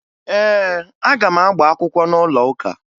Ee, aga m agba akwụkwọ n'ụlọụka